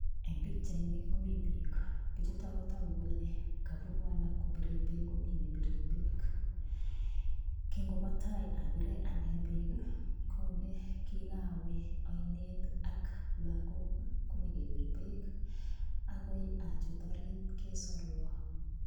Eng pikchaini komi piik, pichuto kotoku kole kabunu alak kobire beek komi ne bire beek. Kingobo tai abire ane beek ii kole kikawe ainet ak lagok ii konyokebir beek akoi achut orit kesorwa.